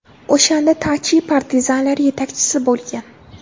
O‘shanda Tachi partizanlar yetakchisi bo‘lgan.